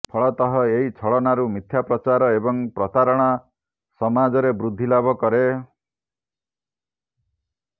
ଫଳତଃ ଏହି ଛଳନାରୁ ମିଥ୍ୟାପ୍ରଚାର ଏବଂ ପ୍ରତାରଣା ସମାଜରେ ବୃଦ୍ଧି ଲାଭ କରେ